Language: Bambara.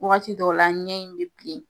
Wagati dɔw la, ɲɛ in bɛ bilen.